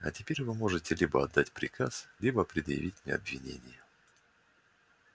а теперь вы можете либо отдать приказ либо предъявить мне обвинение